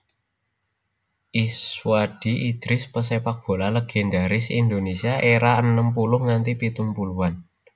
Iswadi Idris pesepakbola legendaris Indonesia era enem puluh nganti pitung puluhan